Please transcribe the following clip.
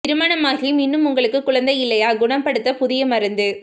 திருமணம் ஆகியும் இன்னும் உங்களுக்கு குழந்தை இல்லையா குணப்படுத்த புதிய மருந்து